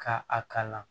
Ka a kalan